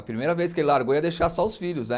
A primeira vez que ele largou ia deixar só os filhos, né?